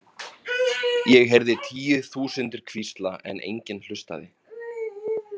Ég heyrði tíu þúsundir hvísla en enginn hlustaði.